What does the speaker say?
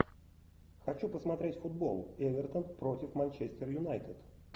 хочу посмотреть футбол эвертон против манчестер юнайтед